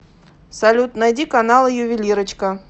салют найди каналы ювелирочка